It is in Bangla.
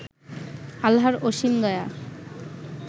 আল্লাহর অসীম দয়া